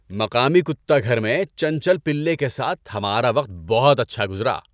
مقامی کتا گھر میں چنچل پلے کے ساتھ ہمارا وقت بہت اچھا گزرا۔